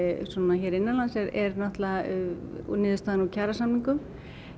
hér innanlands niðurstaðan úr kjarasamningum